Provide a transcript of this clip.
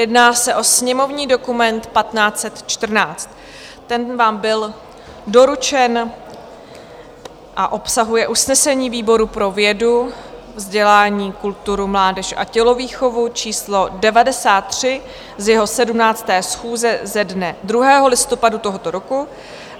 Jedná se o sněmovní dokument 1514, ten vám byl doručen a obsahuje usnesení výboru pro vědu, vzdělání, kulturu, mládež a tělovýchovu číslo 93 z jeho 17. schůze ze dne 2. listopadu tohoto roku.